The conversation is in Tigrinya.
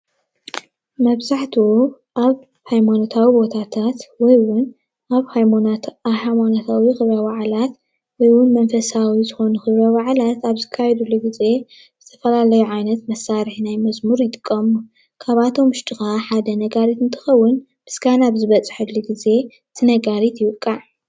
መብዛሕትኡ ኣብ ሃይማኖታዊ ቦታታት ወይ ውን ኣብ ሃይማኖታዊ ክብረ-በዓላት ወይ እውን መንፈሳዊ ዝኾኑ ክብረ ባዓላት ኣብ ዝካይድሉ ጊዜ ዝተፈላለዩ ዓይነት መሳርሒ ናይ መዝሙር ይጥቀሙ፡፡ ካብኣቶም ውሽጢ ከዓ ሓደ ነጋሪት እንትኸውን ምስጋና ኣብ ዝበፅሓሉ ጊዜ እቲ ነጋሪት ይውቃዕ፡፡